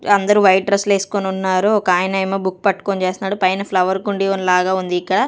అందరూ white dress లేసుకొనున్నారు ఒకాయనేమో బుక్ పట్టుకొని చేస్తున్నాడు పైన ఫ్లవర్ కుండీ లాగా వుంది ఇక్కడ.